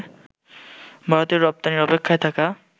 ভারতে রপ্তানির অপেক্ষায় থাকা